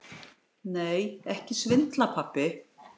Nei, ekki svindla, pabbi.